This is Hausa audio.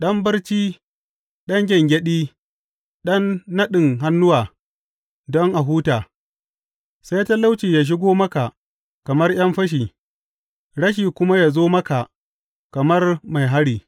Ɗan barci, ɗan gyangyaɗi, ɗan naɗin hannuwa don a huta, sai talauci ya shigo maka kamar ’yan fashi rashi kuma ya zo maka kamar mai hari.